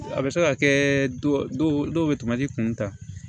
A bɛ se ka kɛ dɔw bɛ tamati kuntan